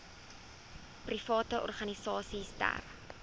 private organisasies ter